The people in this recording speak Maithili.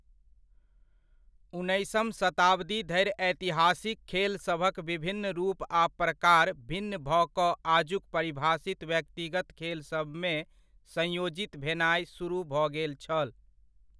उन्नैसम शताब्दी धरि ऐतिहासिक खेलसभक विभिन्न रूप आ प्रकार भिन्न भऽ कऽ आजुक परिभाषित व्यक्तिगत खेलसभमे संयोजित भेनाय सुरुह भऽ गेल छल।